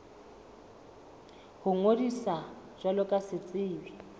ho ngodisa jwalo ka setsebi